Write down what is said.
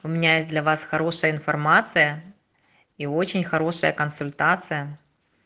у меня есть для вас хорошая информация и очень хорошая консультация